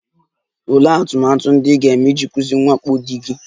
Olee atụmatụ ndị ị ga-eme iji kwụsị mwakpo di gị?